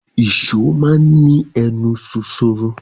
Ì̀só máa n ni ẹnu ṣoṣoro.